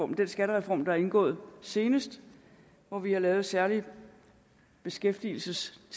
den skattereform der er indgået senest hvor vi har lavet særlige beskæftigelsesfradrag